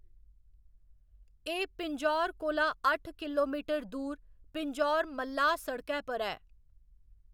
एह्‌‌ पिंजौर कोला अट्ठ किलोमीटर दूर पिंजौर मल्लाह् सड़कै पर ऐ।